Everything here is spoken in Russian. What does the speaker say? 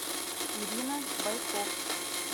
ирина бойко